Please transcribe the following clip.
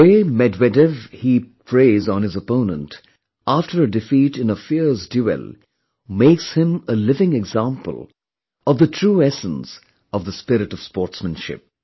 The way Medvedev heaped praise on his opponent after a defeat in a fierce duel makes him a living example of the true essence of the spirit of sportsmanship